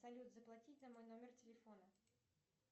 салют заплатить за мой номер телефона